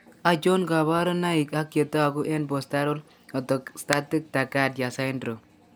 Achon kaborunoik ak chetogu eng'postural orth0static tachcardia syndrome